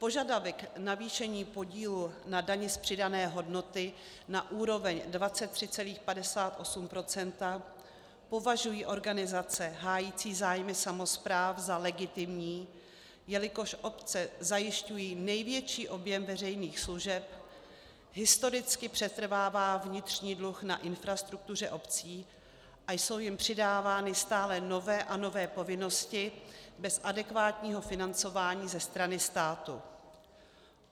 Požadavek navýšení podílu na dani z přidané hodnoty na úroveň 23,58 % považují organizace hájící zájmy samospráv za legitimní, jelikož obce zajišťují největší objem veřejných služeb, historicky přetrvává vnitřní dluh na infrastruktuře obcí a jsou jim přidávány stále nové a nové povinnosti bez adekvátního financování ze strany státu.